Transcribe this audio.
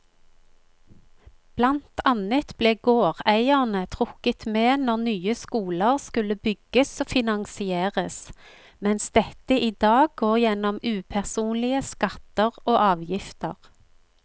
Blant annet ble gårdeierne trukket med når nye skoler skulle bygges og finansieres, mens dette i dag går gjennom upersonlige skatter og avgifter.